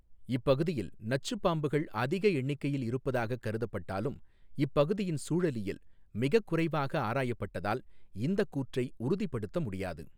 இப்பகுதியில் நச்சுப் பாம்புகள் அதிக எண்ணிக்கையில் இருப்பதாகக் கருதப்பட்டாலும் இப்பகுதியின் சூழலியல் மிகக் குறைவாக ஆராயப்பட்டதால் இந்தக் கூற்றை உறுதிப்படுத்த முடியாது.